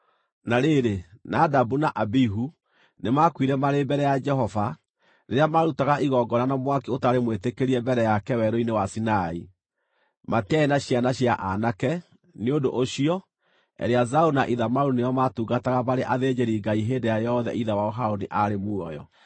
Na rĩrĩ, Nadabu na Abihu nĩmakuire marĩ mbere ya Jehova rĩrĩa maarutaga igongona na mwaki ũtarĩ mwĩtĩkĩrie mbere yake Werũ-inĩ wa Sinai. Matiarĩ na ciana cia aanake; nĩ ũndũ ũcio, Eleazaru na Ithamaru nĩo maatungataga marĩ athĩnjĩri-Ngai hĩndĩ ĩrĩa yothe ithe wao Harũni aarĩ muoyo.